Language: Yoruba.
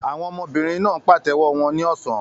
Àwọn ọmọbìnrin náà ń pàtẹ́wọ́ wọn ní ọ̀sán.